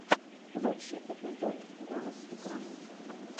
лучший эпизод голос крайни